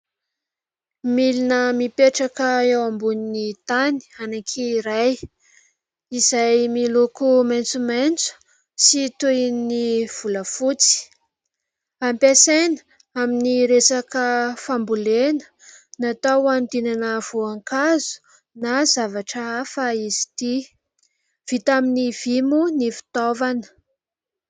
Milina mipetraka eo ambony tany anankiray izay miloko maitsomaitso sy toy ny volafotsy. Ampiasaina amin'ny resaka fambolena. Natao hanodinana voankazo na zavatra hafa izy ity. Vita amin'ny vỳ moa ny fitaovana.